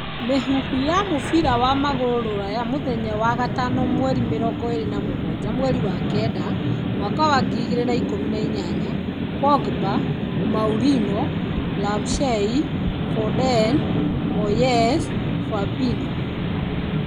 Mĩhuhu ya mũbira wa magũrũ Rũraya mũthenya wa gatano 27.09.2018: Pogba, Mourinho, Ramsey, Foden, Moyes, Fabinho.